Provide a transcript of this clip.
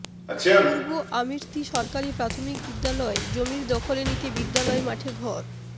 পূর্ব আমির্ত্তী সরকারি প্রাথমিক বিদ্যালয় জমির দখলে নিতে বিদ্যালয় মাঠে ঘর